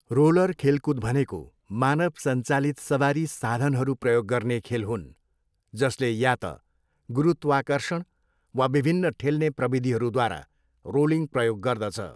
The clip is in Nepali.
रोलर खेलकुद भनेको मानव सञ्चालित सवारी साधनहरू प्रयोग गर्ने खेल हुन्, जसले या त गुरुत्वाकर्षण वा विभिन्न ठेल्ने प्रविधिहरूद्वारा रोलिङ प्रयोग गर्दछ।